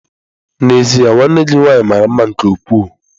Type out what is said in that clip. N'ezie nwanne gị nwanyị mara mma nke ukwuu.